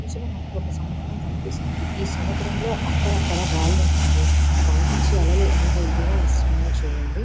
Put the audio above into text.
ఈ ఇమేజ్ లో మనకు ఒక సముద్రం కనిపిస్తోంది.ఈ సముద్రంలో అక్కడక్కడ రాళ్ళూ ఉన్నాయి. పై నుంచి అలలు ఏంత ఇదిగా వస్తున్నాయి చూడంది.